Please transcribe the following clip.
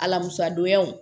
Alamisa donyaw